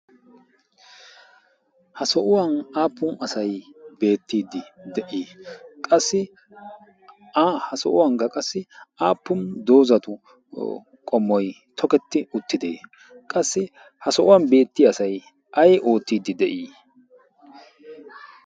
Ha sohuwan aappun asay beettiddi de"ii? Qassi ha sohuwankka qassi aappun doozatu qommoy tokketti uttidde? Qassi ha sohuwan beettiya asay ay oottidi de"ii?